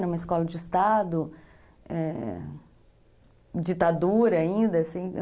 Era uma escola de Estado, é, ditadura ainda, assim, né?